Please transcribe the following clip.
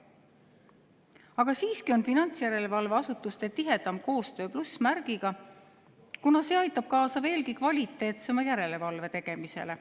Aga siiski on finantsjärelevalveasutuste tihedam koostöö plussmärgiga, kuna see aitab kaasa veelgi kvaliteetsema järelevalve tegemisele."